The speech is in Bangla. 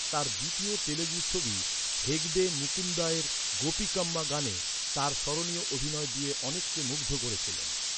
তার দ্বিতীয় তেলুগু ছবিতে, হেগডে 'মুকুন্দা'র 'গোপিকাম্মা' গানে তার স্মরণীয় অভিনয় দিয়ে অনেককে মুগ্ধ করেছিলেন।